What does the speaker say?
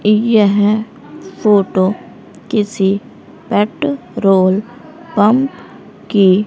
यह फोटो किसी petrol pump की--